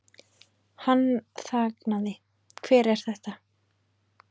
Hann þagnaði, Hver er þetta?